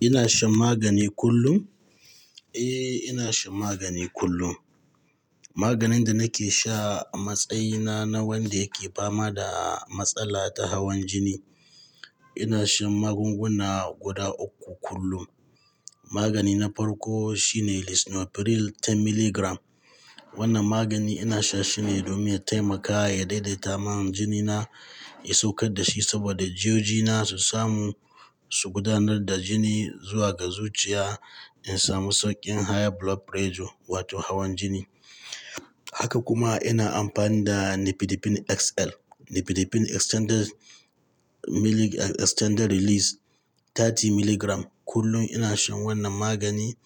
Ina shan magani kullum? Eh, ina shan magani kullum. Maganin da nake sha matsayina na wanda yake fama da matsala ta hawan jini. Ina shan magunguna guda uku kullum. Magani na farko shine Lisinopril 10mg. Wannan magani ina sha shine domin ya taimaka ya daidaita man jinina, ya saukar da shi saboda jiyojina su samu su gudanar da jini zuwa ga zuciya in samu sauƙin high blood pressure wato hawan jini. Haka kuma ina amfani da Nifedipine XL, Nifedipine Extended-Release 30mg kullum. Ina shan wannan magani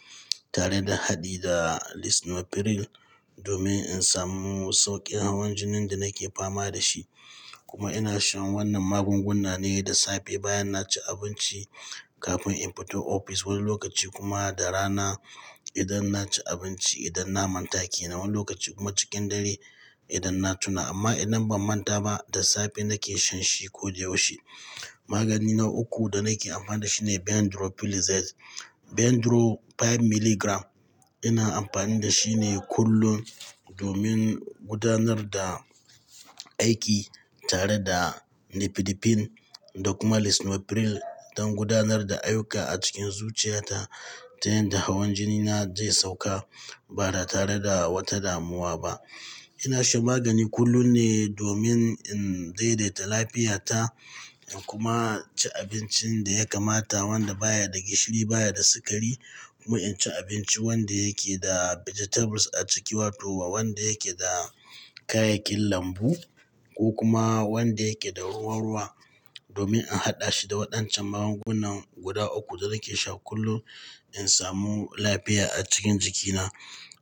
tare da haɗe da Lisinopril domin in samu sauƙin hawan jinin da nake fama da shi. Kuma ina shan wannan magunguna ne da safe bayan na ci abinci kafin in fito ofis wani lokaci kuma da rana idan na ci abinci, idan na manta kenan wani lokaci kuma cikin dare idan na tuna. Amma idan ban manta ba da safe nake shan shi ko da yaushe. Magani na uku da nake amfani da shi ne Bendroflumethiazide, Bendro 5mg. Ina amfani da shi ne kullum domin gudanar da aiki tare da Nifedipine da kuma Lisinopril don gudanar da ayuka a cikin zuciyata ta yadda hawan jinina zai sauka ba da tare da wata damuwa ba. Ina shan magani kullum ne domin in daidaita lafiyata kuma ci abincin da ya kamata wanda baya da gishiri, baya da sukari kuma in ci abinci wanda yake da vegetables a ciki wato ba wanda yake da kayayyakin lambu ko kuma wanda yake da ruwa-ruwa domin a haɗa shi da waɗan can magungunan guda uku da nake sha kullum in samu lafiya a cikin jikina.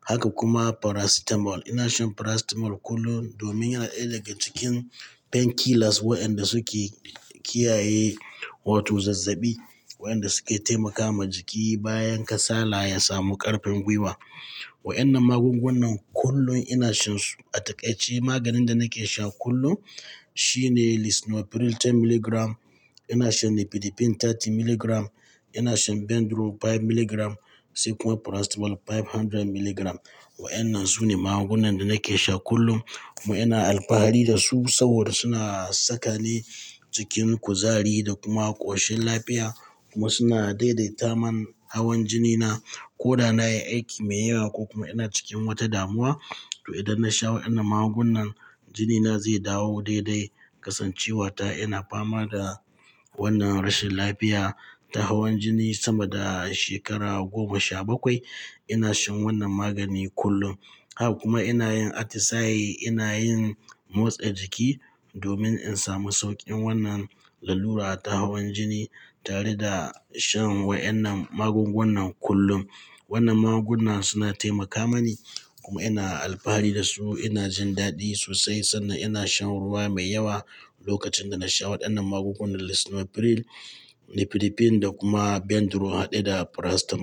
Haka kuma Paracetamol, ina shan Paracetamol kullum domin yana ɗaya daga cikin painkillers waɗanda suke kiyaye wato zazzabi waɗanda suke taimaka ma jiki bayan kasala ya samu ƙarfin gwiwa. Waɗannan magungunan kullum ina shansu. A takaice maganin da nake shan kullum shine Lisinopril 10mg, ina shan Nifedipine 30mg, ina shan Bendro 5mg sai kuma Paracetamol 500mg. Waɗannan su ne magungunan da nake sha kullum kuma ina alfahari da su saboda suna sakale cikin kuzari da kuma ƙoshin lafiya kuma suna daidaita man hawan jinina ko da na yi aiki mai yawa ko kuma ina cikin wata damuwa. To idan na sha waɗannan magungunan, jinina zai dawo daidai kasancewata. Ina fama da wannan rashin lafiya ta hawan jini sama da shekara goma sha bakwai. Ina shan wannan magani kullum. Haka kuma ina yin atisaye, ina yin motsa jiki domin in samu sauƙin wannan lalura ta hawan jini tare da shan waɗannan magungunan kullum. Wannan magunguna suna taimaka mani kuma ina alfahari da su. Ina jin daɗi sosai sannan ina shan ruwa mai yawa lokacin da na sha waɗannan magungunan Lisinopril, Nifedipine da kuma Bendro haɗe da Paracetamol.